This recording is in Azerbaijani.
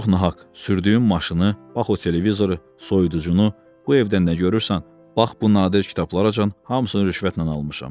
Çox nahaq, sürdüyüm maşını, bax o televizoru, soyuducunu, bu evdən nə görürsən, bax bu nadir kitablaracan hamısını rüşvətlə almışam.